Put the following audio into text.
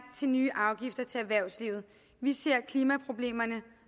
til nye afgifter til erhvervslivet vi ser klimaproblemerne